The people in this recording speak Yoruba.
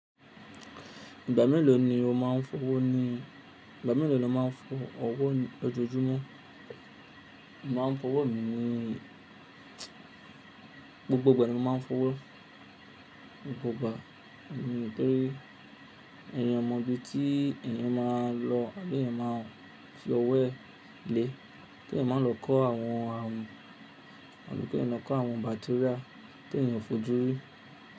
Ìgbà mélòó ni o máa ń fọwọ́ ni, ìgbà mélòó lo má ń fọ ọwọ́ lọjọ́ọjúmọ́? Mo má ń fọwọ́ mi ni gbogbo ìgbà ni mo ma ń fọwọ́, mo kò gba, nítorí èèyàn mọ ibi tí èèyàn máa lọ àbí èèyàn máa fi ọwọ́ ẹ lé, pé èèyàn máa lọ kó àwọn àrùn, àlùpẹ̀pẹ̀ ẹnọ kó àwọn bacteria tí èèyàn fojú rí.